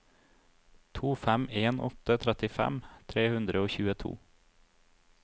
to fem en åtte trettifem tre hundre og tjueto